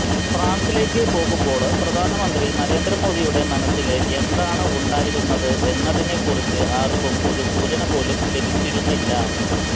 ഫ്രാന്സിലേക്ക് പോകുമ്പോള് പ്രധാനമന്ത്രി നരേന്ദ്ര മോദിയുടെ മനസ്സില് എന്താണ് ഉണ്ടായിരുന്നത് എന്നതിനെ ക്കുറിച്ച് ആര്ക്കും ഒരു സൂചന പോലും ലഭിച്ചിരുന്നില്ല